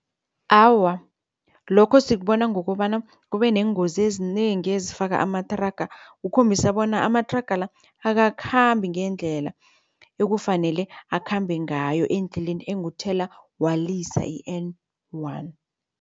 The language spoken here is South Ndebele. Awa, lokho sikubona ngokobana kube neengozi ezinengi ezifaka amathraga ukhombisa bona amathraga la akakhambi ngendlela ekufanele akhambe ngayo endleleni enguthelawalisa i-N one.